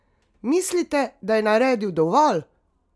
Mislite, da je naredil dovolj?